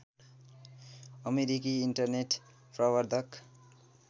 अमेरिकी इन्टरनेट प्रबर्धक